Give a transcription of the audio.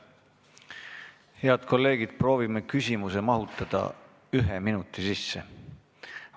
Head kolleegid, proovime küsimuse mahutada ühe minuti sisse!